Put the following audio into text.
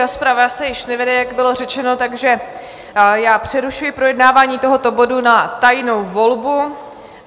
Rozprava se již nevede, jak bylo řečeno, takže já přerušuji projednávání tohoto bodu na tajnou volbu.